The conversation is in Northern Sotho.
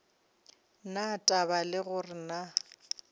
na taba le gore na